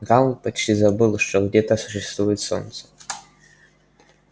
гаал почти забыл что где то существует солнце